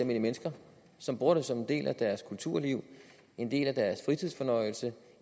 mennesker som bruger det som en del af deres kulturliv en del af deres fritidsfornøjelse